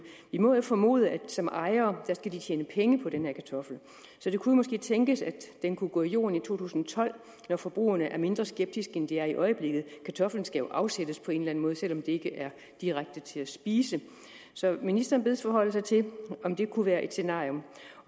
vi må jo formode at de som ejere skal tjene penge på den her kartoffel så det kunne måske tænkes at den kunne gå i jorden i to tusind og tolv når forbrugerne er mindre skeptiske end de er i øjeblikket kartoflen skal jo afsættes på en eller anden måde selv om det ikke er direkte til at spise så ministeren bedes forholde sig til om det kunne være et scenarie